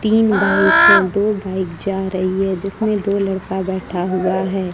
तीन बाइक है दो बाइक जा रही है जिसमें दो लड़का बैठा हुआ है।